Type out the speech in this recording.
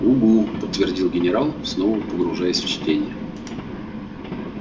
угу подтвердил генерал снова погружаясь в чтение